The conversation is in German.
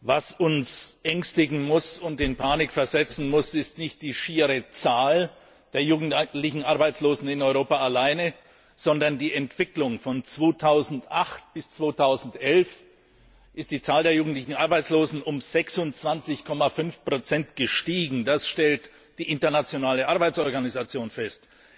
Was uns ängstigen und in Panik versetzen muss, ist nicht die schiere Zahl der jugendlichen Arbeitslosen in Europa alleine, sondern die Entwicklung. Von 2008 bis 2011 ist die Zahl der jugendlichen Arbeitslosen um 26,5 gestiegen, das stellt die Internationale Arbeitsorganisation fest.